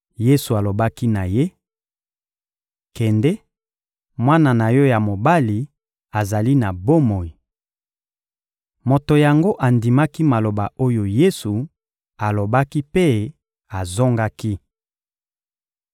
Yesu alobaki na ye: — Kende, mwana na yo ya mobali azali na bomoi. Moto yango andimaki maloba oyo Yesu alobaki mpe azongaki.